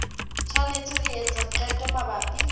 tshwanetse ho etsa qeto mabapi